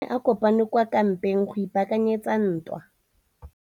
Masole a ne a kopane kwa kampeng go ipaakanyetsa ntwa.